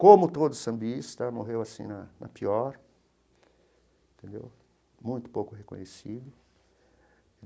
Como todo sambista, morreu assim, na na pior entendeu, muito pouco reconhecido.